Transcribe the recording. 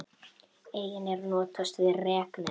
Einnig er notast við reknet.